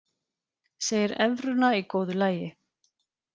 Segir evruna í góðu lagi